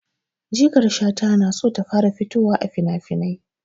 Jikar Shata na so ta fara fitowa a finafinai.